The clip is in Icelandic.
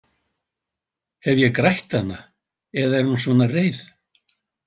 Hef ég grætt hana eða er hún svona reið?